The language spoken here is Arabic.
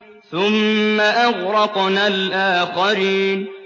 ثُمَّ أَغْرَقْنَا الْآخَرِينَ